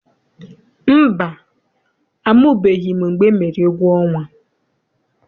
Mba, amụbeghị m mgbe emere egwuọnwa.